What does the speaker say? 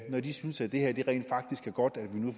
når de synes at det rent faktisk er godt at vi